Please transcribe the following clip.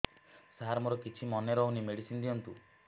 ସାର ମୋର କିଛି ମନେ ରହୁନି ମେଡିସିନ ଦିଅନ୍ତୁ